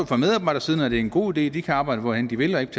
fra medarbejdersiden er en god idé de kan arbejde hvorhenne de vil og ikke